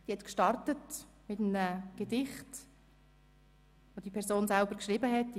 Sie beginnt mit einem Gedicht, das die verstorbene Person selber geschrieben hatte.